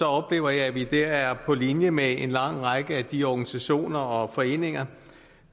oplever jeg at vi dér er på linje med en lang række af de organisationer og foreninger